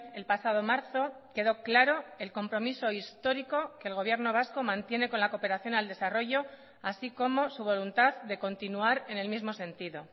el pasado marzo quedó claro el compromiso histórico que el gobierno vasco mantiene con la cooperación al desarrollo así como su voluntad de continuar en el mismo sentido